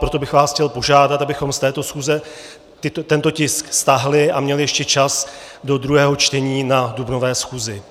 Proto bych vás chtěl požádat, abychom z této schůze tento tisk stáhli a měli ještě čas do druhého čtení na dubnové schůzi.